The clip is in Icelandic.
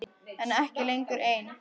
En ekki lengur ein.